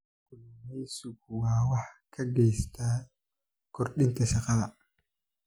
Kalluumaysigu waxa uu gacan ka geystaa kordhinta shaqada.